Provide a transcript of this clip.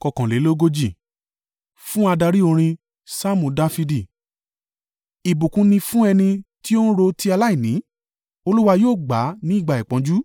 Fún adarí orin. Saamu Dafidi. Ìbùkún ni fún ẹni tí ó ń ro ti aláìní: Olúwa yóò gbà á ní ìgbà ìpọ́njú.